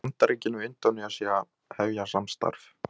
Bandaríkin og Indónesía hefja samstarf